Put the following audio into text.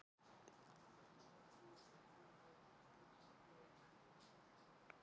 Í öðrum átökum stóðu Vesturlöndin annað hvort bakvið átökin eða voru talin vera það.